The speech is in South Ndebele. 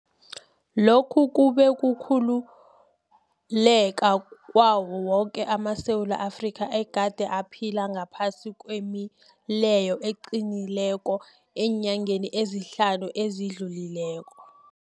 Lokhu kube kukhululeka kwawo woke amaSewula Afrika egade aphila ngaphasi kwemileyo eqinileko eenyangeni ezihlanu ezidlulileko.